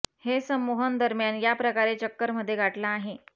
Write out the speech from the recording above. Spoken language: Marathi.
हे संमोहन दरम्यान या प्रकारे चक्कर मध्ये गाठला आहे